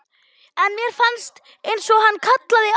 En mér fannst einsog hann kallaði á mig.